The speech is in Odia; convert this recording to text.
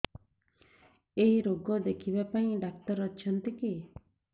ଏଇ ରୋଗ ଦେଖିବା ପାଇଁ ଡ଼ାକ୍ତର ଅଛନ୍ତି କି